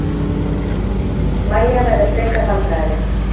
Mæja verður frekar vandræðaleg.